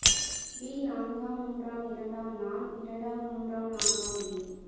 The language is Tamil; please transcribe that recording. வி நான்காம் மூன்றாம் இரண்டாம் நான் இரண்டாம் மூன்றாம் நான்காம் வி